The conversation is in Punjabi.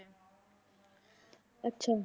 ਅੱਛਾ।